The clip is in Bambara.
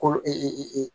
Ko